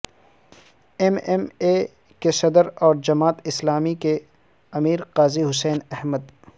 M M A کے صدر اور جماعت اسلامی کے امیر قاضی حسین احمد